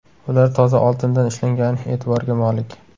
Ular toza oltindan ishlangani e’tiborga molik.